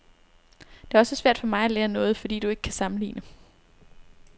Det er også svært for mig at lære noget, fordi du ikke kan sammenligne.